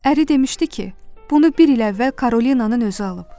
Əri demişdi ki, bunu bir il əvvəl Karolinanın özü alıb.